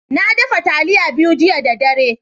Na daffa talliya biyu jiya da dare.